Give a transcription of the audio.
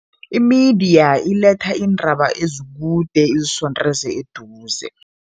Imidiya iletha iindaba ezikude izisondeze eduze.